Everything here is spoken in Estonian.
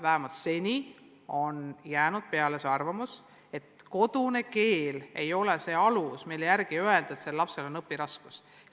Vähemalt seni on jäänud peale arvamus, et kodune keel ei ole alus, mille puhul võiks öelda, et lapse õpiraskused on põhjendatud.